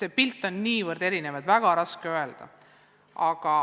See pilt on niivõrd erinev, et on väga raske öelda.